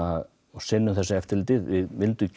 sinnum þessu eftirliti við vildum